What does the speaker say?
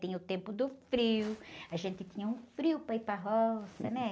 Tinha o tempo do frio, a gente tinha um frio para ir para roça, né?